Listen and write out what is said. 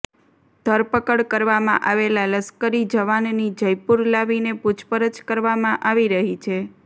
ધરપકડ કરવામાં આવેલા લશ્કરી જવાનની જયપુર લાવીને પુછપરછ કરવામાં આવી રહી છે